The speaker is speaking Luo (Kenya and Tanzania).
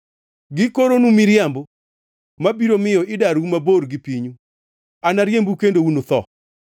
Gikoronu miriambo ma biro miyo idarou mabor gi pinyu; anariembu kendo unutho.